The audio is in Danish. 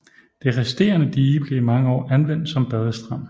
Det resterende dige blev i mange år anvendt som badestrand